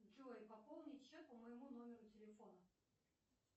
джой пополнить счет по моему номеру телефона